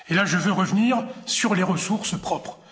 Là, je veux revenir sur les ressources propres.